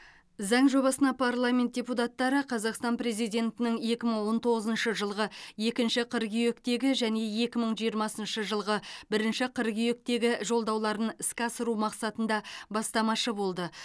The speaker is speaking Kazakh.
заң жобасына парламент депутаттары қазақстан президентінің екі мың он тоғызыншы жылғы екінші қыркүйектегі және екі мың жиырмасыншы жылғы бірінші қыркүйектегі жолдауларын іске асыру мақсатында бастамашы болды